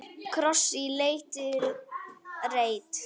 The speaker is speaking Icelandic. Kross í lítinn reit.